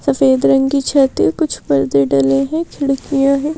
सफेद रंग की छाती कुछ पर्दे डले हैं खिड़की में।